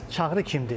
Bəs Çağrı kimdir?